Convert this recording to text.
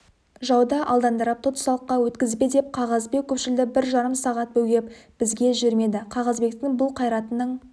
жауды алдандырып тұтсалыққа өткізбе деп қағазбек көпшілді бір жарым сағат бөгеп бізге жібермеді қағазбектің бұл қайратының